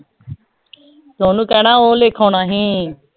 ਤੈਨੂੰ ਕਹਿਣਾ ਓ ਲਿਖ ਆਣਾ ਸੀ